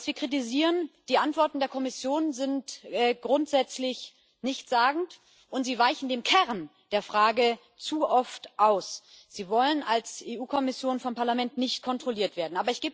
Was wir kritisieren Die Antworten der Kommission sind grundsätzlich nichtssagend, und sie weichen dem Kern der Frage zu oft aus. Sie wollen als Europäische Kommission vom Parlament nicht kontrolliert werden.